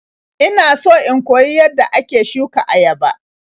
Ina so in koyi yadda ake shuka ayaba.